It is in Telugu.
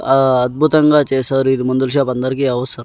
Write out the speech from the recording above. ఆ అద్భుతంగా చేసారు ఇది మందుల షాపు అందరికీ అవసర్--